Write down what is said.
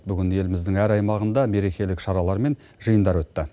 бүгін еліміздің әр аймағында мерекелік шаралар мен жиындар өтті